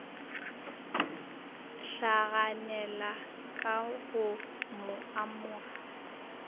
hlaganela ka go mo amoga